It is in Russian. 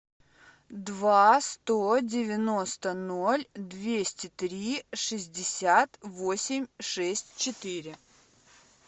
два сто девяносто ноль двести три шестьдесят восемь шесть четыре